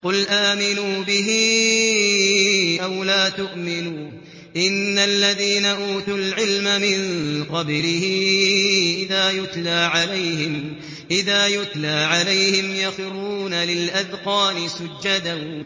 قُلْ آمِنُوا بِهِ أَوْ لَا تُؤْمِنُوا ۚ إِنَّ الَّذِينَ أُوتُوا الْعِلْمَ مِن قَبْلِهِ إِذَا يُتْلَىٰ عَلَيْهِمْ يَخِرُّونَ لِلْأَذْقَانِ سُجَّدًا